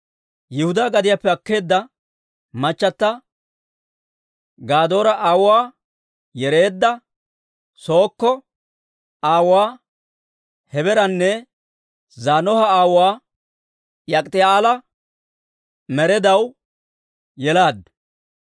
Yihudaa gadiyaappe akkeedda machata Gadoora aawuwaa Yereedda, Sookko aawuwaa Hebeeranne Zaanoha aawuwaa Yak'iiti'eela Meredaw yelaaddu.